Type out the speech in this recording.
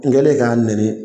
N kɛlen ka nɛni